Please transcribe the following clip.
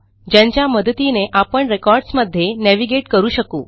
ज्यांच्या मदतीने आपण रेकॉर्ड्स मध्ये नेव्हिगेट करू शकू